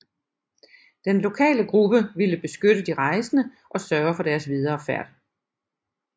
Den lokale gruppe ville beskytte de rejsende og sørge for deres videre færd